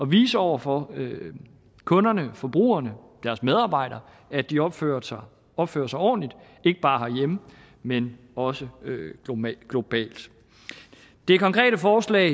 vise over for kunderne og forbrugerne og deres medarbejdere at de opfører sig opfører sig ordentligt ikke bare herhjemme men også globalt det konkrete forslag